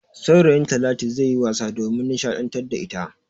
Saurayin Talatu zai yi wasa domin nishadantar da ita.